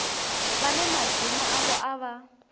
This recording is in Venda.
vhane madzina avho a vha